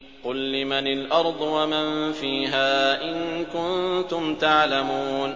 قُل لِّمَنِ الْأَرْضُ وَمَن فِيهَا إِن كُنتُمْ تَعْلَمُونَ